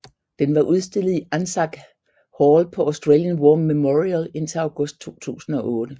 Den var udstillet i ANZAC Hall på Australian War Memorial indtil august 2008